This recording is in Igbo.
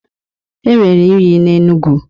Enwere unyi n'Enugu.